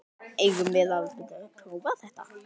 Eigum við að prófa þetta?